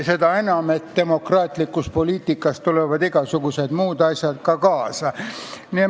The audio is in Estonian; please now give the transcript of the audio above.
Seda enam, et demokraatlikus poliitikas tulevad igasugused muud asjad ka kaasa.